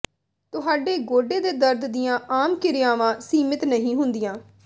ਤੁਹਾਡੇ ਗੋਡੇ ਦੇ ਦਰਦ ਦੀਆਂ ਆਮ ਕਿਰਿਆਵਾਂ ਸੀਮਿਤ ਨਹੀਂ ਹੁੰਦੀਆਂ